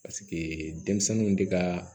Paseke denmisɛnninw de ka